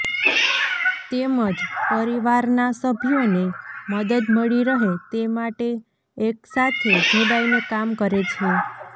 તેમજ પરિવારના સભ્યોને મદદ મળી રહે તે માટે એક સાથે જોડાઈને કામ કરે છે